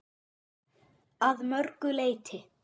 Að mörgu leyti.